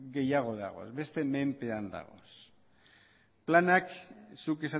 gehiago dagoz besteen menpe dagoz planak zuk